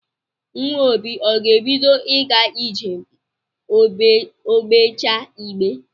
Nwa obi ọ ga-ebido ịga ije ma o gbechaa igbe